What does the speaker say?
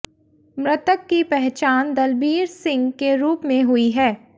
मृतक की पहचान दलबीर सिंह के रूप में हुई है